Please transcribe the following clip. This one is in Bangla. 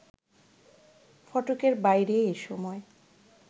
ফটকের বাইরে এ সময়